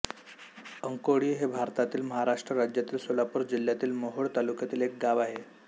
अंकोळी हे भारतातील महाराष्ट्र राज्यातील सोलापूर जिल्ह्यातील मोहोळ तालुक्यातील एक गाव आहे